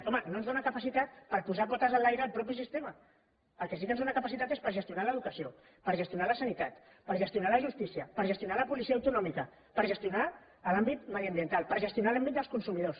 home no ens dóna capacitat per posar potes enlaire el mateix sistema per al que sí que ens dóna capacitat és per gestionar l’educació per gestionar la sanitat per gestionar la justícia per gestionar la policia autonòmica per gestionar l’àmbit mediambiental per gestionar l’àmbit dels consumidors